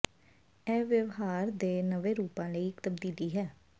ਇਹ ਵਿਵਹਾਰ ਦੇ ਨਵੇਂ ਰੂਪਾਂ ਲਈ ਇੱਕ ਤਬਦੀਲੀ ਹੈ